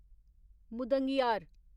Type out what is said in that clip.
मुदंगियार